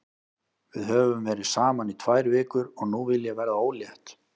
Við höfum verið saman í tvær vikur og nú vil ég verða ólétt.